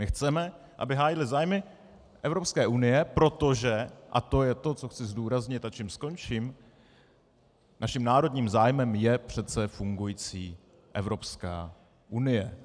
My chceme, aby hájili zájmy Evropské unie, protože, a to je to, co chci zdůraznit a čím skončím, naším národním zájmem je přece fungující Evropská unie.